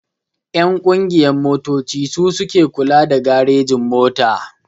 Ƴan ƙungiyan motoci su suke kula da garejin-mota.